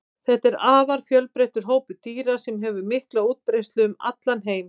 þetta er afar fjölbreyttur hópur dýra sem hefur mikla útbreiðslu um heim allan